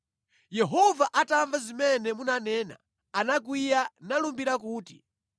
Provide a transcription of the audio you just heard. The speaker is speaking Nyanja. Yehova atamva zimene munanena anakwiya nalumbira kuti,